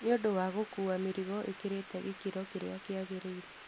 Nĩũndũ wa gũkua mĩrigo ĩkĩrĩte gĩkĩro kĩrĩa kĩagĩrĩire.